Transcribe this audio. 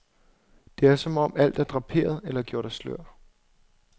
Det er som alt er draperet eller gjort af slør.